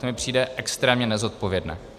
To mi přijde extrémně nezodpovědné.